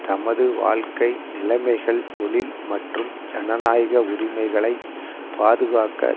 தமது வாழ்க்கை நிலைமைகள் தொழில் மற்றும் ஜனநாயக உரிமைகளை பாதுகாக்க